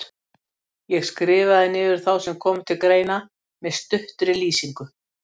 Ég skrifaði niður þá sem komu til greina, með stuttri lýsingu.